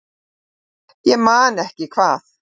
Ég man ekki hvað